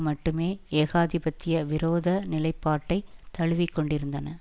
மட்டுமே ஏகாதிபத்திய விரோத நிலைப்பாட்டை தழுவிக்கொண்டிருந்தன